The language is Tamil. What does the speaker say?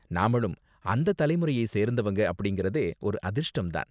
நாமளும் அந்த தலைமுறையை சேர்ந்தவங்க அப்படிங்கறதே ஒரு அதிர்ஷ்டம் தான்.